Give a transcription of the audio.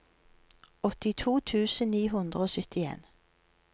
åttito tusen ni hundre og syttien